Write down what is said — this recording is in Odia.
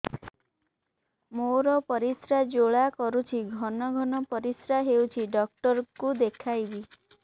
ମୋର ପରିଶ୍ରା ଜ୍ୱାଳା କରୁଛି ଘନ ଘନ ପରିଶ୍ରା ହେଉଛି ଡକ୍ଟର କୁ ଦେଖାଇବି